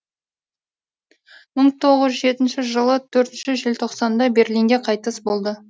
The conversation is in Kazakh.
мың тоғыз жүз жетінші жылы төртінші желтоқсанда берлинде қайтыс болды